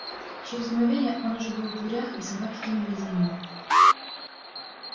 через мгновение он уже был в дверях и собаки кинулись за ним